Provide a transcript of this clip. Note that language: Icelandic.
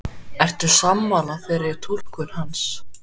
Ertu sammála þeirri túlkun hans?